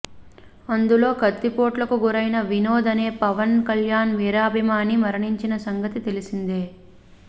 అందులో కత్తిపోట్లకు గురైన వినోద్ అనే పవన్ కల్యాణ్ వీరాభిమాని మరణించిన సంగతి తెలిసిందే